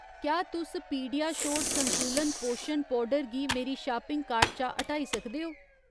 क्या तुस पीडियाश्योर संतुलत पोशन पौडर गी मेरी शापिंग कार्ट चा हटाई सकदे ओ